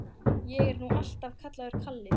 Ég er nú alltaf kallaður Kalli.